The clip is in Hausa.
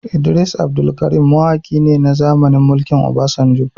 Idris Abdulkarim mawaki ne na zamanin mulkin Obasanjo